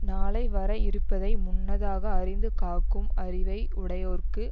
நாளை வர இருப்பதை முன்னதாக அறிந்து காக்கும் அறிவை உடையோர்க்கு